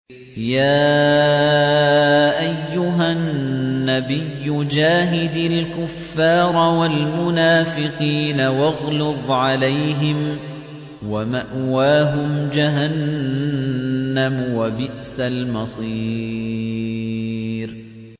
يَا أَيُّهَا النَّبِيُّ جَاهِدِ الْكُفَّارَ وَالْمُنَافِقِينَ وَاغْلُظْ عَلَيْهِمْ ۚ وَمَأْوَاهُمْ جَهَنَّمُ ۖ وَبِئْسَ الْمَصِيرُ